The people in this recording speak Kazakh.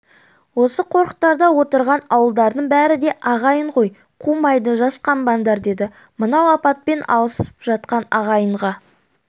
осы қорықтарда отырған ауылдардың бәрі де ағайын ғой қумайды жасқанбаңдар деді мынау апатпен алысып жатқан ағайынға